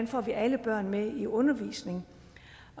får alle børn med i undervisningen